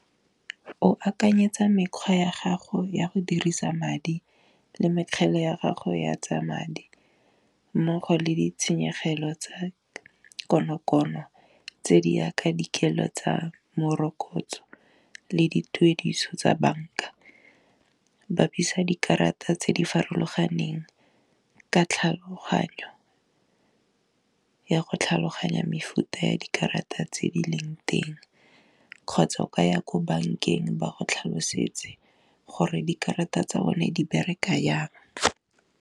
O akanyetsa mekgwa ya gago ya go dirisa madi le mekgele ya gago ya tsa madi, mmogo le ditshenyegelo tsa konokono, tse di yaka dikelo tsa morokotso le dituediso tsa banka, bapisa dikarata tse di farologaneng ka tlhaloganyo ya go tlhaloganya mefuta ya dikarata tse di leng teng, kgotsa o ka ya ko bankeng ba go tlhalosetse gore dikarata tsa bone di bereka yang.